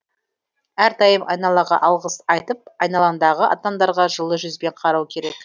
әрдайым айналаға алғыс айтып айналаңдағы адамдарға жылы жүзбен қарау керек